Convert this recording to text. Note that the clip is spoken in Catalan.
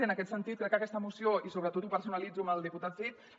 i en aquest sentit crec que aquesta moció i sobretot ho personalitzo en el diputat cid